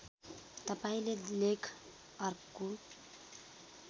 तपाईँले लेख अर्को